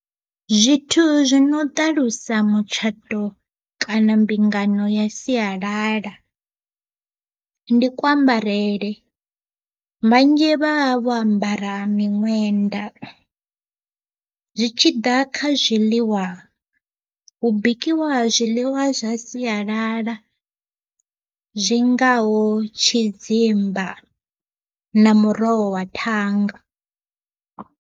Zwithu zwi no ṱalusa mutshato kana mbingano ya sialala, ndi kuambarele vhanzhi vha vho ambara miṅwenda, zwi tshi ḓa kha zwiḽiwa hu bikiwa zwiḽiwa zwa siyalala zwingaho tshidzimba na muroho wa thanga.